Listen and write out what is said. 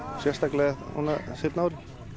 sérstaklega núna seinna árin